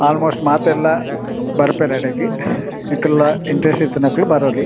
ಆಲ್ most ಮಾತೆರ್ಲಾ ಬರ್ಪೆರ್ ಅಡೆಗ್ ನಿಕುಲ್ಲ ಇಂಟರೆಸ್ಟ್ ಇತ್ತಿನಕುಲು ಬರೊಲಿ.